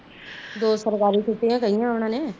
ਦੋ ਸਰਕਾਰੀ ਛੁਟਿਆ ਕਹਿਆ ਉਹਨਾਂ ਨੇ